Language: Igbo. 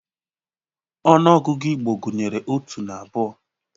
Ọnụ ọgụgụ Igbo gunyeru otu na abụọ.